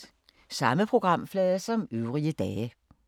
Samme programflade som øvrige dage